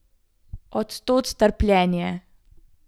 Od tod trpljenje.